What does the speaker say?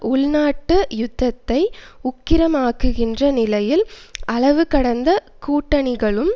உள்நாட்டு யுத்தத்தை உக்கிரமாக்குகின்ற நிலையில் அளவுகடந்த கூட்டணிகளும்